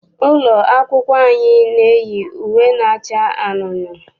Ụlọ akwụkwọ anyị na-eyi uwe na-acha anunuu.